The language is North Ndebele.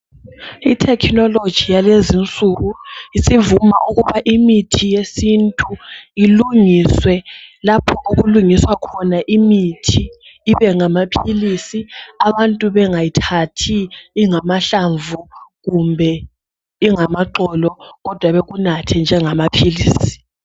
ITechnology yalezinsuku isivuma ukuba imithi yesintu ilungiswe lapho okulungiswa khona imithi ibengamaphilisi abantu bengayithathi ingamahlamvu kumbe ingamaqolo kodwa bekunathe njengamaphilisi